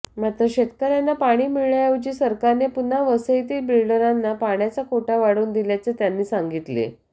मात्र शेतकऱ्यांना पाणी मिळण्याऐवजी सरकारने पुन्हा वसईतील बिल्डरांना पाण्याचा कोटा वाढवून दिल्याचे त्यांनी सांगितले